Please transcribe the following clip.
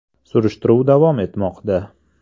Surishtiruv davom etmoqda.